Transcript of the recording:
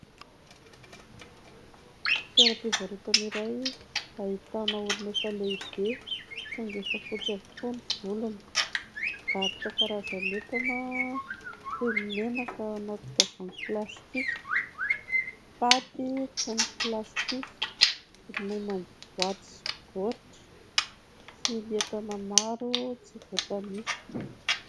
Toeram-pivarotana iray ahitana olona efa lehibe saingy efa fotsy avokoa ny volony. Mivarotra karazan'entana toy ny menaka anaty tavoahangy plastika, paty mifono plastika, ronono amin'ny boaty sy baoritra, sy ny entana maro tsy voatanisa.